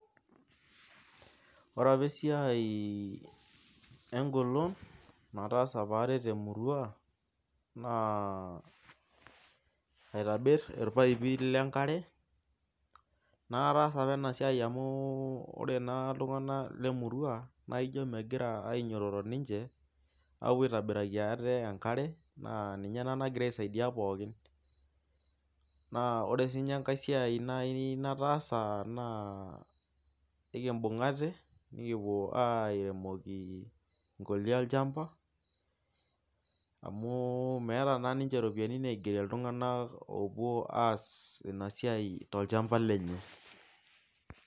Ore enapa esiai, egolon naataasa apa aret emurua naa aitobir olpaipi lenkare. naa kataasa apa ena siai. amu ore naa, iltunganak lemurua. naa ijo megira ninche aapuo aitobiraki aate enkare. naa ninye naa nagira aisaidia pookin. naa ore sii ninye enkae siai nitaasa. naa nikimbungate, nikipuo airemoki nkolia olchampa. amu meeta naa ninche ropiyiani naigeris iltunganak oopuo aas Ina siai tolchampa lenye.